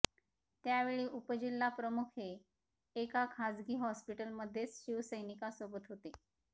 त्यावेळी उपजिल्हा प्रमुख हे एका खासगी हॉस्पिटल मधेच शिवसैनिका सोबत होते